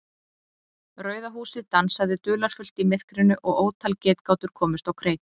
Rauða húsið dansaði dularfullt í myrkrinu og ótal getgátur komust á kreik.